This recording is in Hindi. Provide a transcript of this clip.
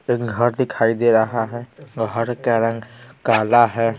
एक घर दिखाई दे रहा है घर का रंग काला है ।